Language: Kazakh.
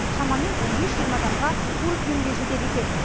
шамамен он бес жиырма адамға қуырып беруге жетеді екен